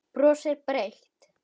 Brosir breitt.